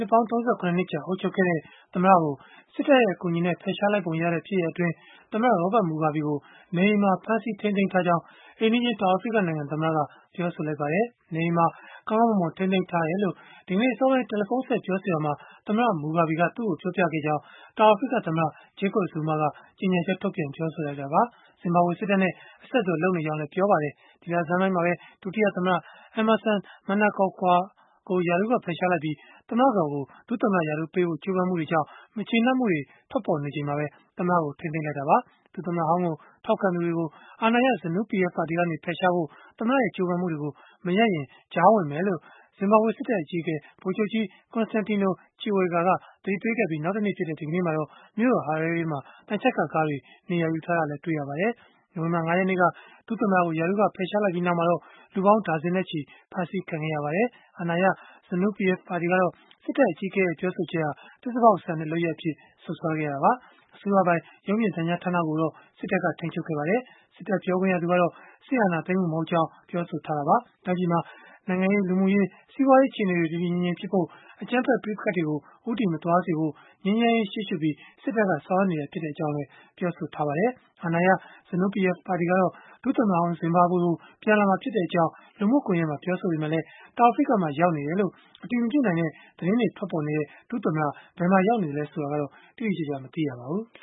ှစ်ပေါင်း ၃၇ နှစ်ကြာ အုပ်ချုပ်ခဲ့တဲ့ သမ္မတကို စစ်တပ်ရဲ့ အကူအညီနဲ့ ဖယ်ရှားလိုက်ပုံရတဲ့ ဖြစ်ရပ်အတွင်း သမ္မတ Robert Mugabe ကို နေအိမ်မှာ ဖမ်းဆီးထိန်းသိမ်းထားကြောင်း အိမ်နီးချင်း တောင်အာဖရိကနိုင်ငံ သမ္မတက ပြောဆိုလိုက်ပါတယ်။ နေအိမ်မှာပဲ ကောင်းကောင်းမွန်မွန် ထိန်းသိမ်းထားတယ်လို့၊ ဒီကနေ့အစောပိုင်း တယ်လီဖုန်းဆက် ပြောဆိုရာမှာ သမ္မတ Mugabe က သူ့ကို ပြောပြခဲ့ကြောင်း တောင်အာဖရိကသမ္မတ Jacob Zuma က ကြေညာချက်ထုတ်ပြန် ပြောဆိုလိုက်တာပါ။ ဇင်ဘာဘွေစစ်တပ်နဲ့ အဆက်အသွယ် လုပ်နေကြောင်းလည်း ပြောဆိုခဲ့ပါတယ်။ ဒီလဆန်းပိုင်းမှာပဲ ဒုတိယသမ္မတ Emmerson Mnangagwa ကို ရာထူးက ဖယ်ရှားလိုက်ပြီး၊ သမ္မတကတော်ကို ဒုသမ္မတရာထူးပေးဖို့ ကြိုးပမ်းမှုတွေကြောင့် မကျေနပ်မှုတွေ ထွက်ပေါ်နေချိန်မှာပဲ သမ္မတကို ထိန်းသိမ်းလိုက်တာပါ။ ဒုသမ္မတဟောင်းကို ထောက်ခံသူတွေကို အာဏာရ ZANU PF ကနေ ဖယ်ရှားဖို့ သမ္မတရဲ့ ကြိုးပမ်းမှုတွေကို မရပ်ရင်၊ ကြားဝင်မယ်လို့ ဇင်ဘာဘွေစစ်တပ်အကြီးအကဲ ဗိုလ်ချုပ်ကြီး Constantino Chiwenga က သတိပေးခဲ့ပြီး နောက်တနေ့ဖြစ်တဲ့ ဒီကနေ့မှာတော့ မြို့တော် Harare မှာ သံချပ်ကာကားတွေ နေရာယူထားတာတွေ့ရပါတယ်။ နိုဝင်ဘာ ၅ ရက်နေ့က ဒုသမ္မတကို ရာထူးက ဖယ်ရှားလိုက်ပြီးနောက်မှာတော့ လူပေါင်းဒါဇင်နဲ့ချီ ဖမ်းဆီးခံခဲ့ရပါတယ်။ အာဏာရ ZANU PF ပါတီကတော့ စစ်တပ်အကြီးအကဲရဲ့ ပြောဆိုချက်ဟာ သစ္စာဖောက်ဆန်တဲ့ လုပ်ရပ်အဖြစ် စွပ်စွဲခဲ့တာပါ။ အစိုးရပိုင် ရုပ်မြင်သံကြားဌာနကိုတော့ စစ်တပ်က ထိန်းချုပ်ခဲ့ပါတယ်။ စစ်တပ်ပြောခွင့်ရသူကတော့ စစ်အာဏာသိမ်းမှု မဟုတ်ကြောင်း ပြောဆိုခဲ့တာပါ။ တိုင်းပြည်မှာ နိုင်ငံရေး၊ လူမှုရေး၊ စီးပွားရေး အခြေအနေတွေ တည်တည်ငြိမ်ငြိမ်ဖြစ်ဖို့၊ အကြမ်းဖက် ပဋိပက္ခတွေကို ဦးတည်မသွားစေဖို့ ငြိမ်းချမ်းရေးကို ရှေ့ရှုပြီး စစ်တပ်က ဆောင်ရွက်နေတာသာ ဖြစ်ကြောင်းလည်း ပြောဆိုခဲ့ပါတယ်။ အာဏာရ ZANU PF ပါတီကတော့ ဒုသမ္မတဟောင်း ဇင်ဘာဘွေကို ပြန်လာမှာဖြစ်ကြောင်း လူမှုကွန်ယက်မှာ ပြောဆိုခဲ့ပေမဲ့၊ တောင်အာဖရိကမှာ ရောက်နေတယ်လို့ အတည်မပြုနိုင်တဲ့ သတင်းတွေ ထွက်ပေါ်နေတဲ့ ဒုသမ္မတ ဘယ်မှာရောက်နေသလဲ ဆိုတာကတော့ တိတိကျကျ မသိရပါဘူး။